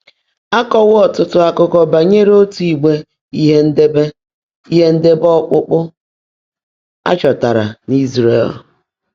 Á kọ́wọ́ ọ́tụ́tụ́ ákụ́kọ́ bányèré ótú ígbè, íhe ńdéèbé íhe ńdéèbé ọ́kpụ́kpụ́, á chọ́táárá n’Ị́zràẹ̀l.